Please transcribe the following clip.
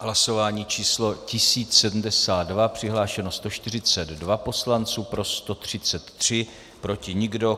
Hlasování číslo 1072, přihlášeno 142 poslanců, pro 133, proti nikdo.